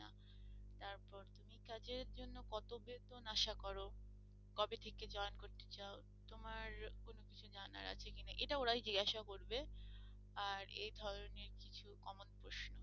তোমার কোন কিছু জানার আছে কিনা এটা ওরাই জিজ্ঞাসা করবে আরে ধরনের কিছু common প্রশ্ন।